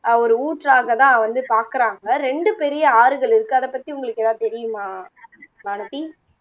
அஹ் ஒரு ஊற்றாகதான் வந்து பாக்குறாங்க ரெண்டு பெரிய ஆறுகள் இருக்கு அத பத்தி உங்களுக்கு எதாவது தெரியுமா வானதி